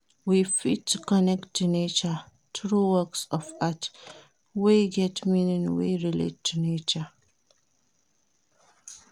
We fit connect to nature through works of art wey get meaning wey relate to nature